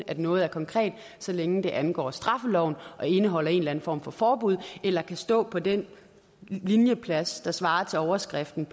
at noget er konkret så længe det angår straffeloven og indeholder en eller anden form for forbud eller kan stå på den linjeplads der svarer til overskriften